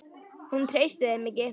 Hún treysti þeim ekki.